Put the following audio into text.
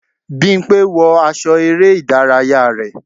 bimpe! wọ aṣọ ere idaraya rẹ.